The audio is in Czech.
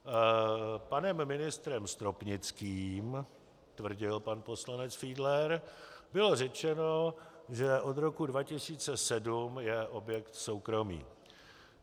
Panem ministrem Stropnickým, tvrdil pan poslanec Fiedler, bylo řečeno, že od roku 2007 je objekt soukromý.